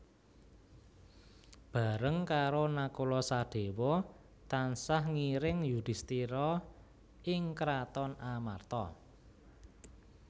Bareng karo Nakula Sadéwa tansah ngiring Yudhistira ing kraton Amarta